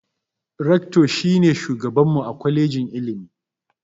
"Rector" shi ne shugaban mu a kwalejin ilimi